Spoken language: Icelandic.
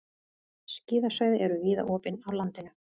Skíðasvæði eru víða opin á landinu